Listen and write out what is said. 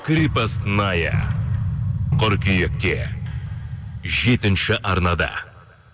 крепостная қыркүйекте жетінші арнада